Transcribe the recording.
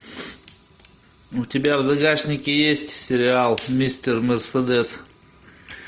у тебя в загашнике есть сериал мистер мерседес